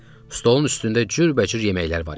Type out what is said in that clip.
Stolun üstündə cürbəcür yeməklər var idi.